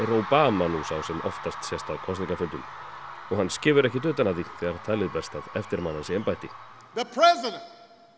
Obama nú sá sem oftast sést á kosningafundum og hann skefur ekkert utan að því þegar talið berst að eftirmanni hans í embætti það